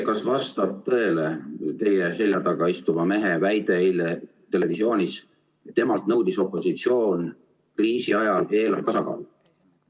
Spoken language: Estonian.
Kas vastab tõele teie selja taga istuva mehe väide, mille ta eile televisioonis esitas, et opositsioon nõudis temalt kriisi ajal eelarve tasakaalu?